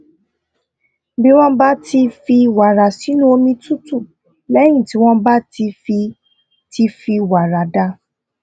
bí wón bá fi wàrà sínú omi tútù léyìn tí wón bá ti fi ti fi wàrà dà